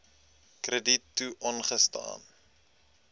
krediet toe aangesien